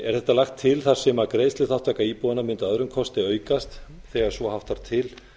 er þetta lagt til þar sem greiðsluþátttaka íbúanna mundi að öðrum kosti aukast þegar svo háttar til